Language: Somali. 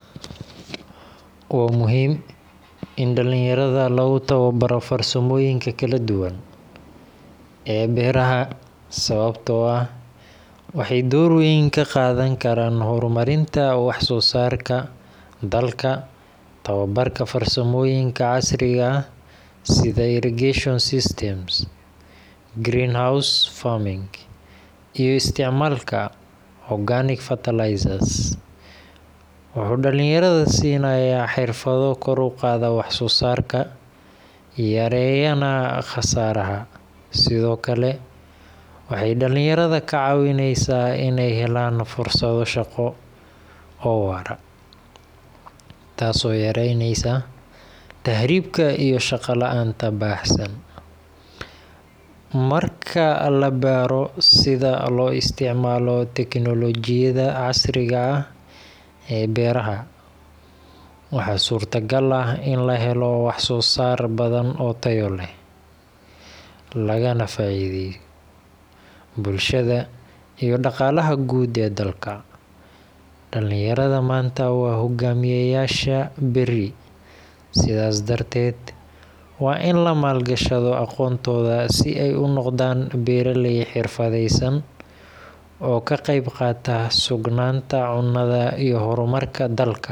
Waa muhiim in dhalinyarada lagu tababaro farsamooyinka kala duwan ee beeraha sababtoo ah waxay door weyn ka qaadan karaan horumarinta wax soo saarka dalka. Tababarka farsamooyinka casriga ah sida irrigation systems, greenhouse farming, iyo isticmaalka organic fertilizers wuxuu dhalinyarada siinayaa xirfado kor u qaada waxsoosaarka, yareeyana khasaaraha. Sidoo kale, waxay dhalinyarada ka caawinaysaa inay helaan fursado shaqo oo waara, taasoo yareyneysa tahriibka iyo shaqo la’aanta baahsan. Marka la baro sida loo isticmaalo tignoolajiyada casriga ah ee beeraha, waxaa suurtagal ah in la helo wax soo saar badan oo tayo leh, loogana faa’iideeyo bulshada iyo dhaqaalaha guud ee dalka. Dhalinyarada maanta waa hoggaamiyeyaasha berri, sidaas darteed waa in la maal gashado aqoontooda si ay u noqdaan beeraley xirfadaysan oo ka qayb qaata sugnaanta cunnada iyo horumarka dalka.